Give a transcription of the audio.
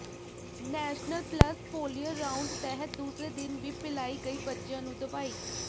national pulse polio round ਤਹਿਤ ਦੂਸਰੇ ਦਿਨ ਵੀ ਪਿਲਾਈ ਗਈ ਬੱਚਿਆਂ ਨੂੰ ਦਵਾਈ